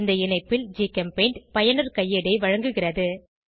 இந்த இணைப்பில் ஜிகெம்பெயிண்ட் பயனர் கையேடை வழங்குகிறது